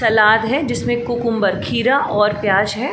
सलाद है जिसमें कुकुम्बर खीरा और प्याज है।